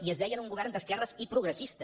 i es deien un govern d’esquerres i progressista